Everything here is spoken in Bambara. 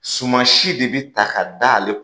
Suman si de bɛ ta k'a d'ale